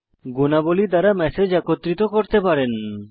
গুণাবলী দ্বারা ম্যাসেজ একত্রিত করতে পারেন